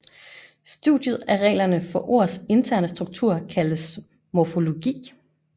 Studiet af reglerne for ords interne struktur kaldes morfologi